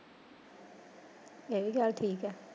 ਇਹ ਵੀ ਗੱਲ ਠੀਕ ਆ।